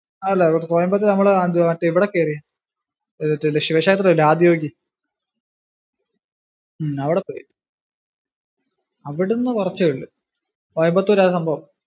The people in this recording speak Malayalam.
അല്ല കോയമ്പത്തൂര് നമ്മള് ഇവിടെ കേറി മറ്റേ ശിവ ക്ഷേത്രം ഇല്ലേ ആദി യോഗി ഉം അവിടെ പോയി, അവിടുന്ന് കുറച്ചേ ഉള്ളു, കോയമ്പതുരാ സംഭവം.